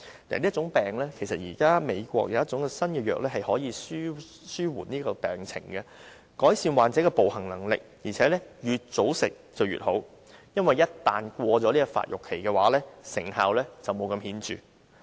現時，美國有一種新藥可以紓緩病情，改善患者的步行能力，而且越早服用越好，因為患者一旦過了發育期，成效便沒有那麼顯著。